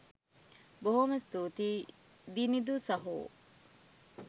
බොහොම ස්තූතියි දිනිඳු සහෝ